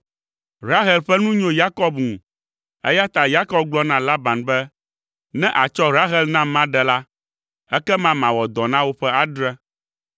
Rahel ƒe nu nyo Yakob ŋu, eya ta Yakob gblɔ na Laban be, “Ne àtsɔ Rahel nam maɖe la, ekema mawɔ dɔ na wò ƒe adre.”